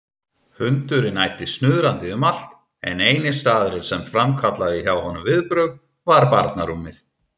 Hundurinn æddi snuðrandi um allt en eini staðurinn sem framkallaði hjá honum viðbrögð var barnarúmið.